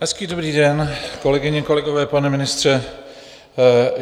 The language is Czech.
Hezký dobrý den, kolegyně, kolegové, pane ministře.